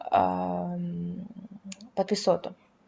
пописоту